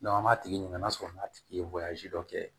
an b'a tigi ɲininka n'a sɔrɔ n'a tigi ye dɔ kɛ